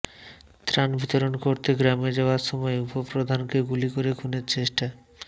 ত্রাণ বিতরণ করতে গ্রামে যাওয়ার সময়ে উপপ্রধানকে গুলি করে খুনের চেষ্টা